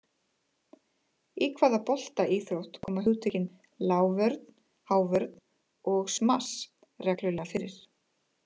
Í hvaða boltaíþrótt koma hugtökin, lágvörn, hávörn og smass, reglulega fyrir?